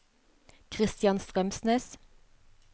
Christian Strømsnes